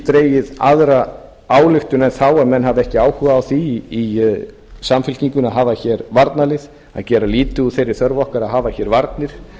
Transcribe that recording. dregið aðra ályktun en þá að menn hafi ekki áhuga á því í samfylkingunni að hafa hér varnarlið að gera lítið úr þeirri þörf hvar að hafa hér varnir